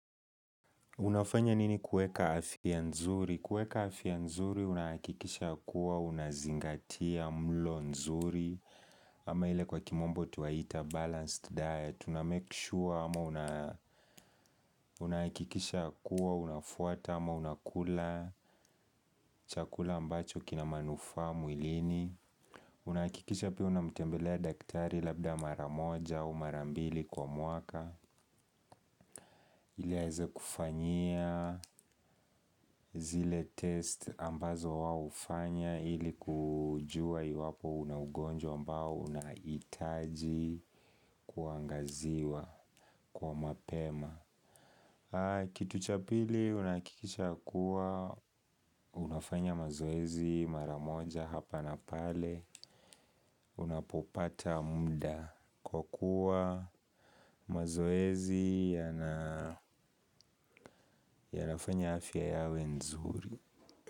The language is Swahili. Unafanya nini kuweka afya nzuri? Kuweka afya nzuri unakikisha kuwa unazingatia mlo nzuri. Ama ile kwa kimombo twaita balanced diet. Una make sure ama unakikisha kuwa unafuata ama unakula chakula ambacho kina manufaa mwilini. Unahakikisha pia unamtembelea daktari labda mara moja au mara mbili kwa mwaka. Ili aweze kufanyia zile test ambazo wao hufanya ili kujua iwapo una ugonjwa ambao unahitaji kuangaziwa kwa mapema. Kitu cha pili unahakikisha kuwa unafanya mazoezi mara moja hapa na pale unapopata muda kwa kuwa mazoezi yanafanya afya yawe nzuri.